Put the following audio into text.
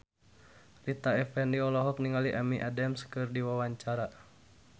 Rita Effendy olohok ningali Amy Adams keur diwawancara